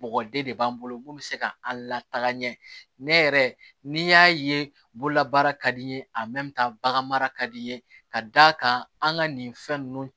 Mɔgɔ den de b'an bolo mun bɛ se ka an lataa ɲɛ ne yɛrɛ n'i y'a ye bololabaara ka di n ye a bagan mara ka di n ye ka d'a kan an ka nin fɛn ninnu